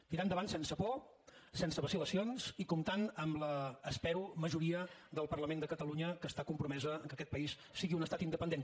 tirar endavant sense por sense vacil·lacions i comptant amb la espero majoria del parlament de catalunya que està compromesa que aquest país sigui un estat independent